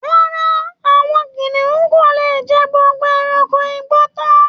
Rárá, àwọn kìnìún kò lè jẹ gbogbo ẹrankò igbó tán